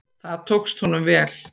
Það tókst honum vel.